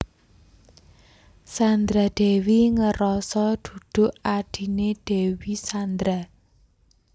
Sandra Dewi ngeroso duduk adhine Dewi Sandra